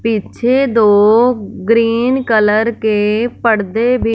पीछे दो green colour के पर्दे भी--